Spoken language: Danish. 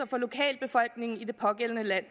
for lokalbefolkningen i det pågældende land